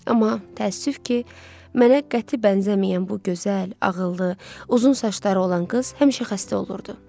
Amma təəssüf ki, mənə qəti bənzəməyən bu gözəl, ağıllı, uzun saçları olan qız həmişə xəstə olurdu.